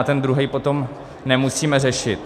A ten druhý potom nemusíme řešit.